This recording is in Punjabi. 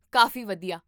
ਕਾਫ਼ੀ ਵਧੀਆ!